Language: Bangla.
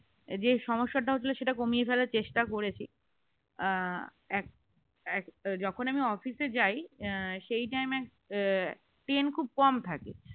যে সমস্যাটা হচ্ছিল সেটা কমিয়ে ফেলার চেষ্টা করেছি আ আ এক এক যখন আমি office এ যাই সেই time এ ট্রেন খুব কম থাকে